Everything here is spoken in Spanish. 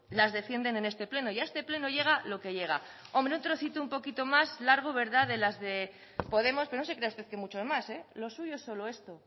las defienden en este pleno y a este pleno llega lo que llega un trocito un poquito más largo de las de podemos pero no se crea usted que mucho más lo suyo es solo esto